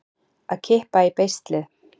Að kippa í beislið